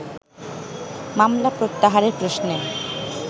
মামলা প্রত্যাহারের প্রশ্নে